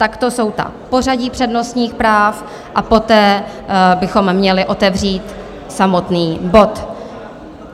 Takto jsou ta pořadí přednostních práv a poté bychom měli otevřít samotný bod.